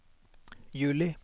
juli